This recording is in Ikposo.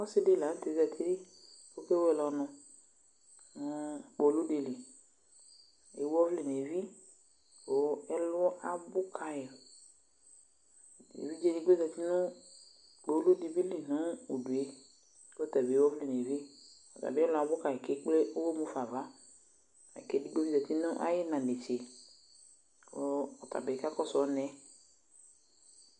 Ɔsɩdɩ la nʋ tɛɛ zati k'okewele ɔnʋ , nʋ kpoludɩ li ; ewu ɔvlɛ n'evi , kʋ ɛlɔ abʋ kayɩ Evidzedɩ bɩ zati nʋ kpoludɩ bɩ li nʋ udue, k'ɔtabɩ ewu ɔvlɛ n'evi , ɔtabɩ ɛlɔ abʋ kayɩ kekple ʋɣɔ mufa ava Edigbodɩ zati nʋ ay'ɩɩna netse kɔ ɔtabɩ kakɔsʋ ɔnʋɛ